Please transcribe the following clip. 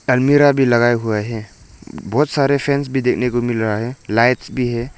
अलमीरा भी लगाए हुए है बहोत सारे फैन्स भी देखने को मिल रहा है लाइट्स भी है।